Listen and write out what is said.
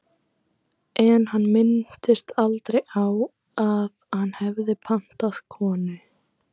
En hann minntist aldrei á að hann hefði pantað konu.